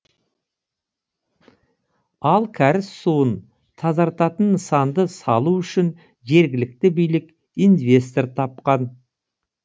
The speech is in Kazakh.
ал кәріз суын тазартатын нысанды салу үшін жергілікті билік инвестор тапқан